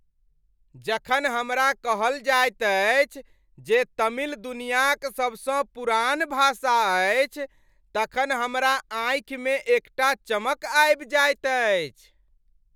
जखन हमरा कहल जाइत अछि जे तमिल दुनियाक सबसँ पुरान भाषा अछि तखन हमरा आँखिमे एकटा चमक आबि जाइत अछि।